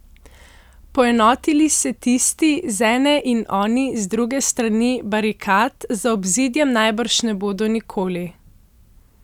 Poenotili se tisti z ene in oni z druge strani barikad za obzidjem najbrž ne bodo nikoli.